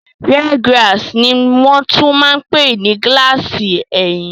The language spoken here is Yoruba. Rear glass ní wọ́n tún máa n pè ní gílààsì ẹ̀yìn